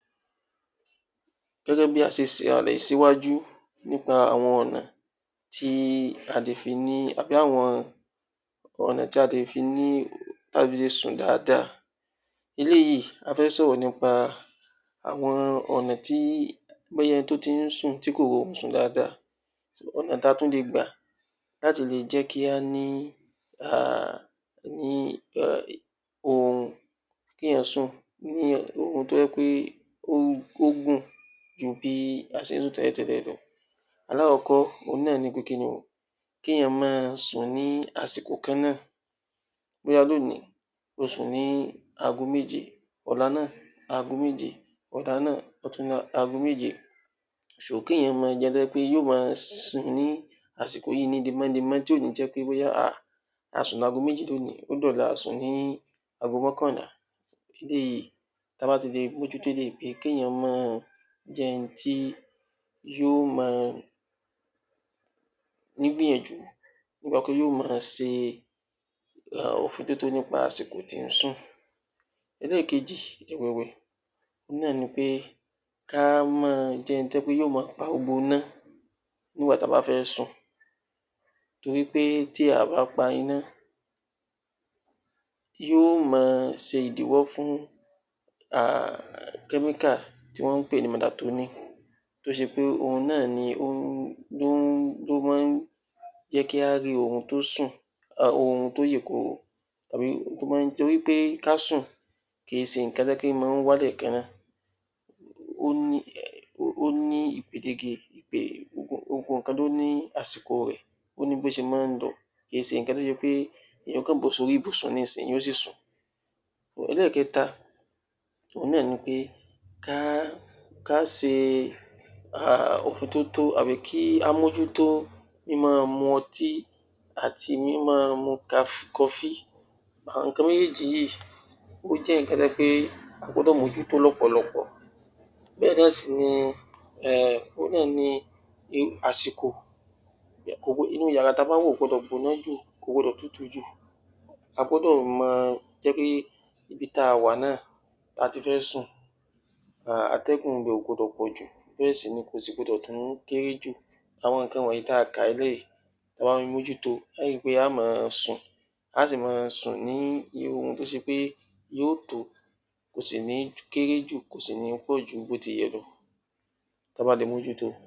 Gẹ́gẹ́ bí a ṣe ṣe ìhàlẹ̀ síwájú nípa àwọn ọ̀nà tí a lè fi ní...àbí àwọn ọ̀nà tí a fi lè sùn dáadáa. Eléyìí a fi ń sọ̀rọ̀ nípa àwọn ọ̀nà tí...bóyá ẹni tó ti ń sùn tí kò rí orun sùn dáadáa so, ọ̀nà tí a tún lè gbà láti lè jẹ́ kí á ní um oorun kí èèyàn sùn, oorun tó jẹ́ pé ó gùn ju bí a ṣe ni tẹ́lẹ̀tẹ́lẹ̀ lọ. Alákọ̀kọ́, òun náà ni pé kí ni o? Kí èèyàn máa sùn ní àsìkò kan náà. Bóyá lónìí o sùn ní ago méje, ọ̀la náá̀ ago méje, ọ̀túnla náà ago méje. So, kí èèyàn máa jẹun tó jẹ́ pé yó máa sùn ní àsìkò yìí lemọ́lemọ́ tí ò ní jẹ́ pé ah a sùn lágo méjì lónìí, ó di ọ̀la a sùn ní ago mọ́kànla. Bí a bá ti lè mójú tó eléyìí, bíi kí èèyàn máa jẹun tí yó máa ní ìgbìyànjú. Bákan náá̀ yó máa ṣe òfintótó nípa àsìkò tí ń sùn. ẹlẹ́ẹ̀kejì ẹ̀wẹ̀, òun náà ni pé kí á máa jẹ́ ẹni tó jẹ́ pé yó máa pa gbogbo iná nígbà tí a bá fẹ́ sùn. Torí pé tí a ò bá pa iná, yóò máa ṣe ìdíwọ́ fún chemical tí wọ́n ń pè ní melatonin tó ṣe pé òun náà ni ó ń...ló máa ń jẹ́ kí á rí oorun tó sùn, oorun tó yè koro. Torí pé ká sùn, kì í ṣe nǹkan tó jẹ́ pé ó máa ń wá lẹ́ẹ̀kan náà. Ó ní um gbogbo nǹkan ló ní àsìkò rẹ̀, ó ní bí ó ṣe máa ń lọ kì í ṣe nǹkan tó jẹ́ pé èèyàn yóò bọ́ sí orí ìbùsùn yóò sì sùn. ẹlẹ́ẹ̀kẹta, òun náà ni pé ká ṣe òfintótó àbí ká mójútó mí máa mu ọtí àti mí máa mu kọfí. Àwọn nǹkan méjèèjì yìí ó jẹ́ nǹkan tó jẹ́ pé a gbọ́dọ̀ mójútó lọ́pọ̀lọpọ̀. Bẹ́ẹ̀ náà sì ni, òun náà ni àsìkò, inú yàrá tí a bá ń wọ̀ kò gbọdọ̀ gbóná jù, kò gbọdọ̀ tutù jù. A gbọ́dọ̀ máa jẹ́ kí ibi tí a wà náà, tí a ti fẹ́ sùn atẹ́gùn ibẹ̀ kò gbọdọ̀ pọ̀jù bẹ́ẹ̀ sì ni kò sì gbọdọ̀ tún kéré jù. Àwọn nǹkan wọ̀nyí tí a kà lẹ̀ yìí, tí a bá ń mójú to a ó ri pé a ó máa sùn, a ó sì máa sùn ní oorun tó ṣe pé yó tó, kò sì ní kéré jù, kò sì ní pọ̀ ju bó ti yẹ lọ tí a bá lè mójú to.